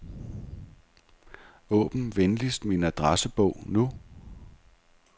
Åbn venligst min adressebog nu.